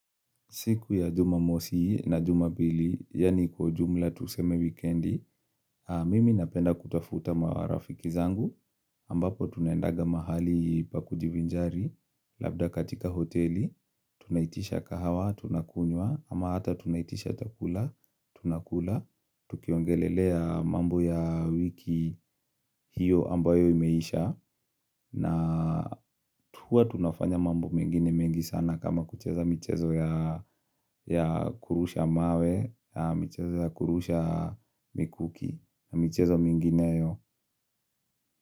Siku ya jumamosi na jumapili, yaani kwa jumla tuseme wikendi, mimi napenda kutafuta marafiki zangu, ambapo tunendaga mahali pa kujivinjari, labda katika hoteli, tunaitisha kahawa, tunakunywa, ama hata tunaitisha chakula, tunakula, tukiongelelea mambo ya wiki hiyo ambayo imeisha, na huwa tunafanya mambo mengine mengi sana kama kucheza michezo ya kurusha mawe, michezo ya kurusha mikuki, michezo mingineyo.